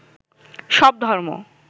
সব ধর্ম